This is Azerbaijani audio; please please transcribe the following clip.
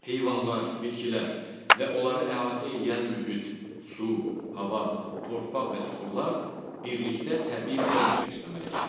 Heyvanlar, bitkilər və onları əhatə eləyən mühit, su, hava, torpaq və süxurlar birlikdə təbii kompleks əmələ gətirir.